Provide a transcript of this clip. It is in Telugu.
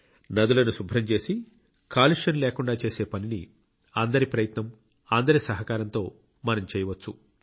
నదులను శుభ్రం చేసి కాలుష్యం లేకుండా చేసే పనిని అందరి ప్రయత్నం అందరి సహకారంతో మనం చేయవచ్చు